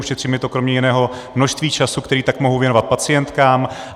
Ušetří mi to kromě jiného množství času, který tak mohu věnovat pacientkám.